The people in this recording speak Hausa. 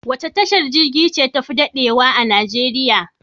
Wace tashar jirgin ruwa ce tafi daɗewa a Najeriya?